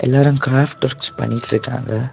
எல்லாரு crafts works பண்ணிட்டிருக்காங்க.